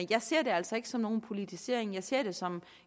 jeg ser det altså ikke som nogen politisering jeg ser det som